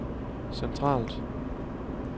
centralt